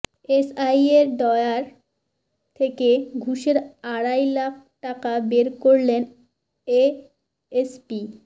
এসআইয়ের ড্রয়ার থেকে ঘুষের আড়াই লাখ টাকা বের করলেন এএসপি